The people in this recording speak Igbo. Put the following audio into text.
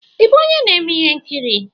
Ị bụ onye na-eme ihe nkiri?